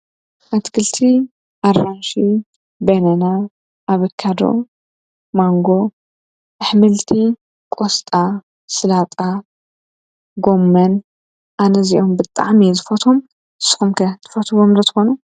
ኣትክልቲ ኣራንሺ ፣ባናና ፣ ኣቨካዶ፣ ማንጎ ኣሕምልቲ ቁስጣ ፣ ሰላጣ ፣ጎመን ኣነ እዚኦም ብጣዕሚ እየ ዝፈትዎም። ንስኩም ከ ትፈትዉዎም ዶ ትኮኑ?